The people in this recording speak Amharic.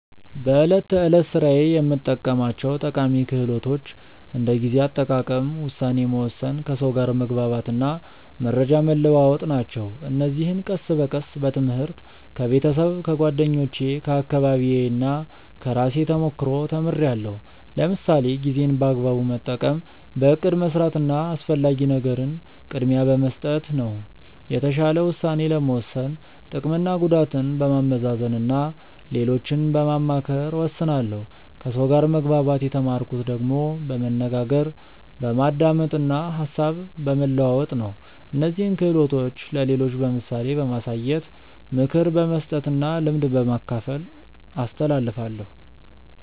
በዕለት ተዕለት ሥራዬ የምጠቀማቸው ጠቃሚ ክህሎቶች እንደ ጊዜ አጠቃቀም፣ ውሳኔ መወሰን፣ ከሰው ጋር መግባባት እና መረጃ መለዋወጥ ናቸው። እነዚህን ቀስ በቀስ በትምህርት፣ ከቤተሰብ፣ ከጓደኞቼ፣ ከአካባቢዬ እና ከራሴ ተሞክሮ ተምርያለሁ። ለምሳሌ ጊዜን በአግባቡ መጠቀም በእቅድ መስራት እና አስፈላጊ ነገርን ቅድሚያ በመስጠት ነው። የተሻለ ውሳኔ ለመወሰን ጥቅምና ጉዳትን በማመዛዘን እና ሌሎችን በማማከር እወስናለሁ ከሰው ጋር መግባባት የተማርኩት ደግሞ በመነጋገር፣ በማዳመጥ እና ሀሳብ በመለዋወጥ ነው። እነዚህን ክህሎቶች ለሌሎች በምሳሌ በማሳየት፣ ምክር በመስጠት እና ልምድ በማካፈል አስተላልፋለሁ።